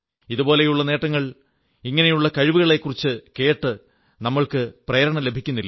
ഇതുപോലുള്ള നേട്ടങ്ങൾ ഇങ്ങനെയുള്ള കഴിവിനെക്കുറിച്ചു കേട്ട് നമുക്ക് പ്രേരണ ലഭിക്കുന്നില്ലേ